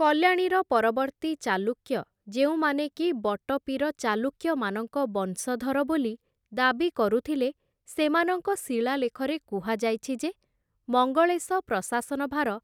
କଲ୍ୟାଣୀର ପରବର୍ତ୍ତୀ ଚାଲୁକ୍ୟ, ଯେଉଁମାନେ କି ବଟପୀର ଚାଲୁକ୍ୟମାନଙ୍କ ବଂଶଧର ବୋଲି ଦାବି କରୁଥିଲେ, ସେମାନଙ୍କ ଶିଳାଲେଖରେ କୁହାଯାଇଛି ଯେ, ମଙ୍ଗଳେଶ ପ୍ରଶାସନ ଭାର